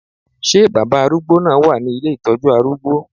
Ṣé baba arúgbó náà wà ní ilé ìtọ́jú arúgbó?